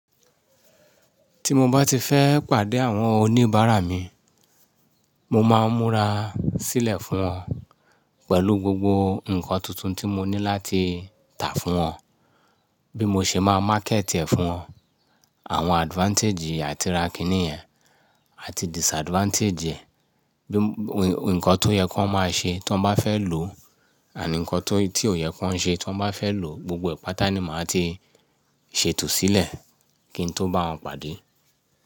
Tí mo bá ti fẹ́ pàdé àwọn oníbàárà mi, mo máa ń múra sílẹ̀ fún wọn pẹ̀lú gbogbo nǹkan tuntun tí mo ní láti tà fún wọn. Bí mo ṣe máa market ẹ̀ fún wọn, àwọn advantage àti ra kinì yẹ̀n àti disadvantage ẹ̀. Bí-- nǹkan tó yẹ ki wón máa ṣe tí wọ́n bá fẹ́ lò ànd nǹkan tó, tí ò yẹ kó ń ṣe tí wọ́n bá fẹ́ lò. Gbogbo ẹ̀e pàtà ni màá ti ṣètò sílẹ̀ kí n tó bá wọn pàdé.